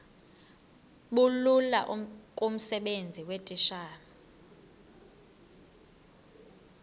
bulula kumsebenzi weetitshala